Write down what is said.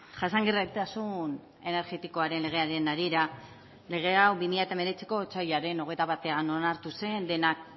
jasangarritasun energetikoaren legearen harira lege hau bi mila hemeretziko otsailaren hogeita batean onartu zen denak